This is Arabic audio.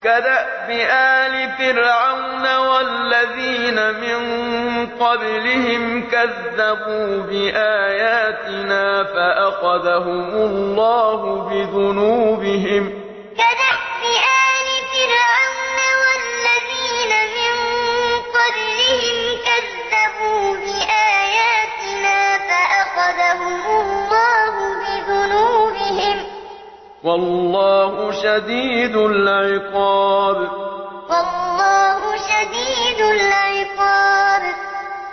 كَدَأْبِ آلِ فِرْعَوْنَ وَالَّذِينَ مِن قَبْلِهِمْ ۚ كَذَّبُوا بِآيَاتِنَا فَأَخَذَهُمُ اللَّهُ بِذُنُوبِهِمْ ۗ وَاللَّهُ شَدِيدُ الْعِقَابِ كَدَأْبِ آلِ فِرْعَوْنَ وَالَّذِينَ مِن قَبْلِهِمْ ۚ كَذَّبُوا بِآيَاتِنَا فَأَخَذَهُمُ اللَّهُ بِذُنُوبِهِمْ ۗ وَاللَّهُ شَدِيدُ الْعِقَابِ